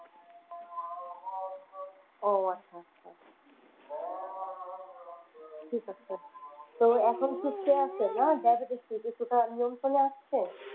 ও আচ্ছা আচ্ছা ঠিক আছে। তো এখন সুস্থ আছে না diabetes কি একটু নিয়ন্ত্রনে আসছে?